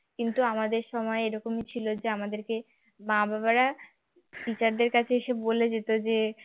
কিন্তু আমাদের সময় এরকম ছিল যে আমাদেরকে মা-বাবারা teacher দের কাছে এসে বলে যেতে যে